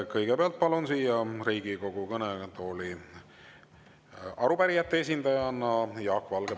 Kõigepealt palun siia Riigikogu kõnetooli arupärijate esindajana Jaak Valge.